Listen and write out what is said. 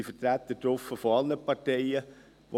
Es sind Vertreter aller Parteien dabei.